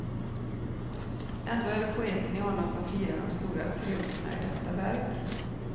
Ändå är det poeten i honom som firar de stora triumferna i detta verk.